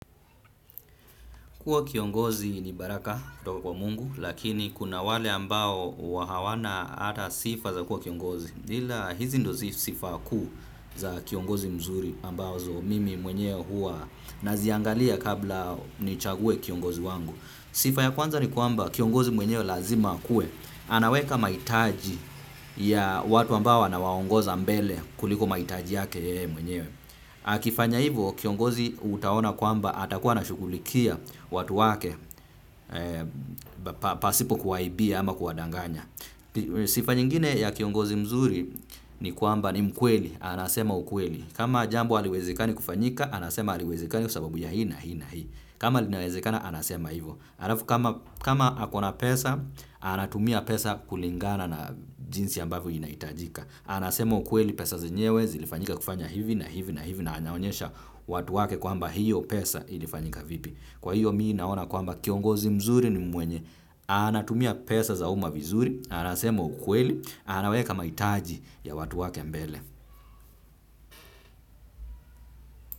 Kuwa kiongozi ni baraka kutoka kwa Mungu, lakini kuna wale ambao hawana hata sifa za kuwa kiongozi. Ila hizi ndo sifa kuu za kiongozi mzuri ambazo mimi mwenye huwa naziangalia kabla nichague kiongozi wangu. Sifa ya kwanza ni kuamba kiongozi mwenyewe lazima akuwe. Anaweka mahitaji ya watu ambao anawaongoza mbele kuliko mahitaji yake yeye mwenyewe. Akifanya hivyo kiongozi utaona kwamba atakuwa anashughulikia watu wake pasipo kuwaibia ama kuwadanganya. Sifa nyingine ya kiongozi mzuri ni kwamba ni mkweli, anasema ukweli. Kama jambo haliwezekani kufanyika, anasema haliwezekani kwa sababu ya hii na hii na hii. Kama linawezekana, anasema hivyo. Kama ako na pesa, anatumia pesa kulingana na jinsi ambavyo inaihtajika. Anasema ukweli pesa zenyewe zilifanyika kufanya hivi na hivi na hivi na anyaonyesha watu wake kwamba hiyo pesa ilifanyika vipi. Kwa hiyo mimi naona kwamba kiongozi mzuri ni mwenye anatumia pesa za uma vizuri. Anasema ukweli anaweka mahitaji ya watu wake mbele.